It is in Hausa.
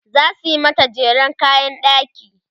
zasu mata jeren kayan ɗaki